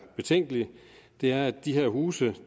betænkelig ved er at de her huse